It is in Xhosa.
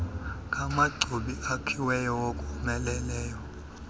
ngamachobi akhiweyo awomeleleyo